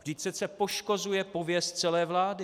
Vždyť přece poškozuje pověst celé vlády.